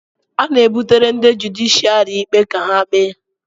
A na-ebutere ndị jụdịshịàrị ikpe ka ha kpee